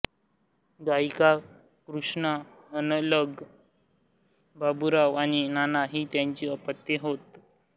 गायिका कृष्णा हनगल बाबुराव आणि नाना ही त्यांची अपत्ये होत